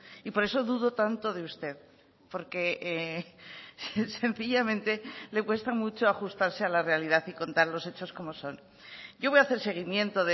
y por eso dudo tanto de usted porque sencillamente le cuesta mucho ajustarse a la realidad y contar los hechos como son yo voy a hacer seguimiento